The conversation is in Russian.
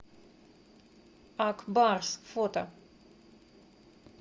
ак барс фото